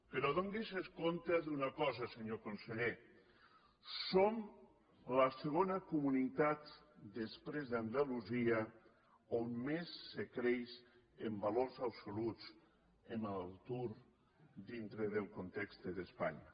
però adoni’s d’una cosa senyor conseller som la segona comunitat després d’andalusia on més se creix en valors absoluts en l’atur dintre del context d’espanya